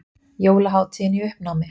Jólahátíðin í uppnámi